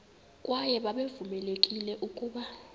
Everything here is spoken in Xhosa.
kwaye babevamelekile ukuba